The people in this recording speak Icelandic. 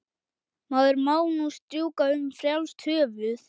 Maður má nú strjúka um frjálst höfuð!